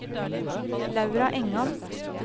Laura Engan